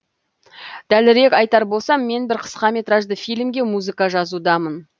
дәлірек айтар болсам мен бір қысқаметражды фильмге музыка жазудамын